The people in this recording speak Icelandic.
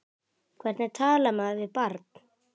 Hvernig talar maður við barn?